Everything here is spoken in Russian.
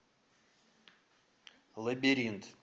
лабиринт